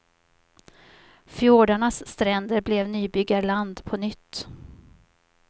Fjordarnas stränder blev nybyggarland på nytt.